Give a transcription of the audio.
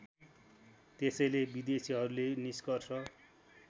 त्यसैले विदेशीहरूले निष्कर्ष